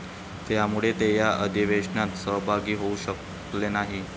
त्यामुळे ते या अधिवेशनात सहभागी होऊ शकले नाही.